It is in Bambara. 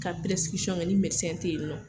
Ka ni mɛdɛsɛn tɛ yen nɔ.